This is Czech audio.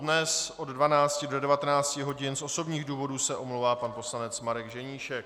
Dnes od 12 do 19 hodin z osobních důvodů se omlouvá pan poslanec Marek Ženíšek.